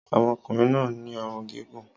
ọmọkùnrin náà ní ọrùn gígùn